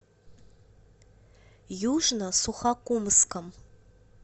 южно сухокумском